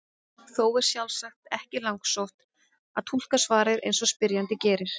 Þó er sjálfsagt ekki langsótt að túlka svarið eins og spyrjandi gerir.